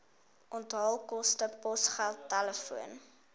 onthaalkoste posgeld telefoon